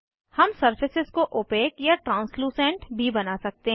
हम सरफेसेस को ओपेक अपारदर्शी या ट्रांस्लूसेंट भी बना सकते हैं